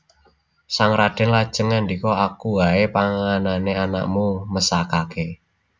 Sang radèn lajeng ngandika Aku waé panganen anakmu mesakaké